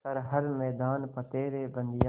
कर हर मैदान फ़तेह रे बंदेया